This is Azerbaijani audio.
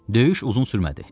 Döyüş uzun sürmədi.